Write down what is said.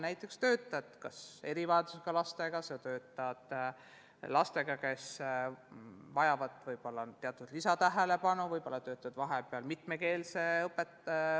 Näiteks vahepeal töötab õpetaja erivajadustega lastega või lastega, kes vajavad teatud lisatähelepanu, võib-olla töötab ta vahepeal mitmekeelse õpetajana.